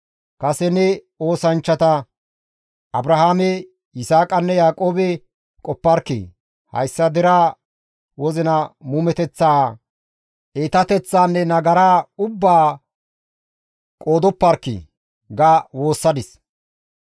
Kase ne oosanchchata Abrahaame, Yisaaqanne Yaaqoobe qoparkkii; hayssa deraa wozina muumeteththaa, iitateththaanne; nagaraa ubbaa qoodoparkkii!» ga woossadis.